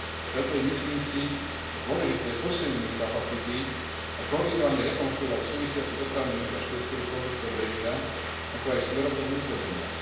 Preto je, myslím si, dôležité posilniť ich kapacity a koordinovane rekonštruovať súvisiacu dopravnú infraštruktúru pozdĺž pobrežia, ako aj smerom do vnútrozemia.